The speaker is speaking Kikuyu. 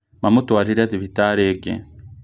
Mamũtũarire thibitari ĩngĩ